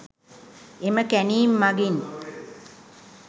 එම කැණීම් මගින්